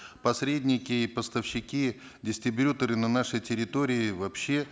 посредники и поставщики дистрибьюторы на нашей территории вообще